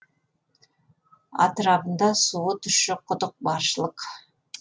атырабында суы тұщы құдық баршылық